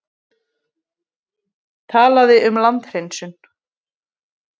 Talaði um landhreinsun.